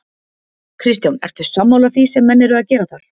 Kristján: Ertu sammála því sem menn eru að gera þar?